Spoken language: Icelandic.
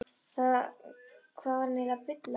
Hvað var hann eiginlega að bulla?